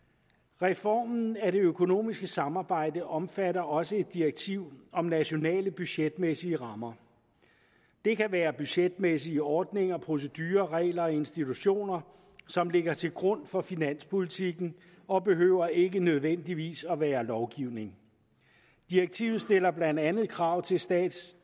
reformen af det økonomiske samarbejde omfatter også et direktiv om nationale budgetmæssige rammer det kan være budgetmæssige ordninger procedurer regler og institutioner som ligger til grund for finanspolitikken og behøver ikke nødvendigvis at være lovgivning direktivet stiller blandt andet krav til statistiske